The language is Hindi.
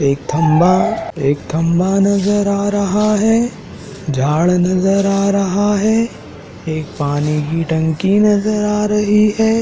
एक थंबा एक थंबा नजर आ रहा है झाड़ नजर आ रहा है एक पानी की टंकी नजर आ रही है।